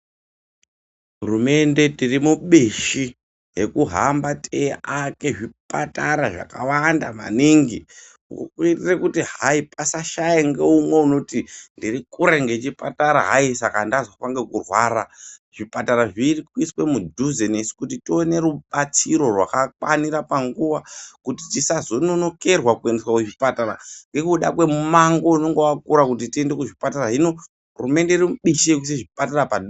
Hurumende tiri mubishi rekuhamba teiaka zvipatara zvakawanda maningi . Uku kuitira kuti hayi pasashaya umwe unoti ndirikure ngechipatara hayi saka ndazofa ngekurwara . Zvipatara zviri kuiswa mudhuze nesu kuti tione rubatsiro rwakakwanira panguwa iyo kuti tisazononokerwa kuendeswa kuchipatara nekuda kwemumango une wakura kuti tiende kuzvipatara . Hino hurumende irimubishi rekuisa zvipatara padhuze.